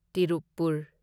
Tirupur